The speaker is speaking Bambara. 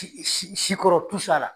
si si sikɔrɔ